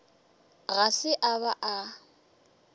ga se a ba a